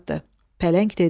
Pələng dedi: